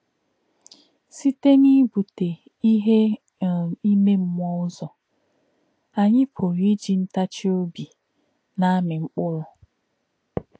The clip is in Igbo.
Sītè̄ n’íbù̄tè̄ íhè̄ um ímè̄ mmú̄ọ̄ ṹzò̄, ànyí̄ pụ̀rụ́ ‘íjì̄ ntà̄chì̄ ọ̀bí̄ nā̄-àmī̄ mkpụ̀rụ́’.